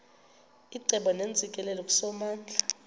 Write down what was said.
icebo neentsikelelo kusomandla